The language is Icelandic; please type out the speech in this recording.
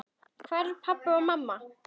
Hvar eru pabbi og mamma?